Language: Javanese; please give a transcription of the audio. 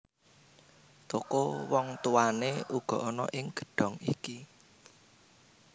Toko wong tuwané uga ana ing gedhong iki